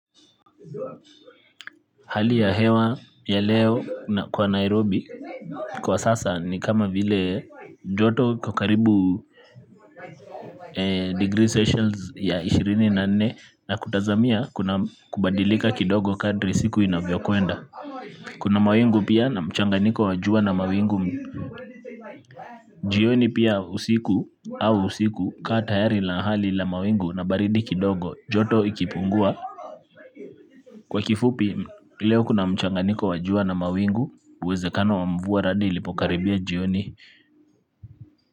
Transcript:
Hali ya hewa ya leo kwa Nairobi, kwa sasa ni kama vile joto iko karibu degree celsius ya ishirini na nne na kutazamia kuna kubadilika kidogo kadri siku inavyokwenda kuna mawingu pia na mchanganyiko wa jua na mawingu jioni pia usiku au usiku kaa tayari la ahali la mawingu na baridi kidogo joto ikipungua. Kwa kifupi, leo kuna mchanganyiko wa jua na mawingu, uwezekano wa mvua radi ilipokaribia jioni.